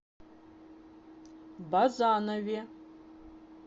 базанове